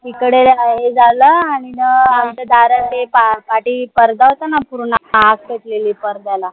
इकडे हे झाला आणि मग इथं दारात पारदा होता ना पूर्ण आग पेटलेली पडद्याला